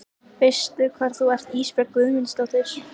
Veistu hvar þú ert Ísbjörg Guðmundsdóttir?